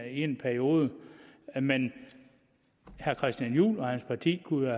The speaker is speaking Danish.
en periode men herre christian juhl og hans parti kunne